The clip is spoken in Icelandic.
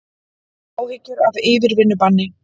Áhyggjur af yfirvinnubanni